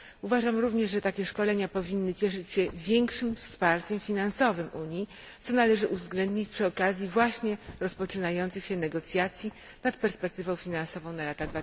Uważam również, że takie szkolenia powinny cieszyć się większym wsparciem finansowym Unii, co należy uwzględnić przy okazji właśnie rozpoczynających się negocjacji nad perspektywą finansową na lata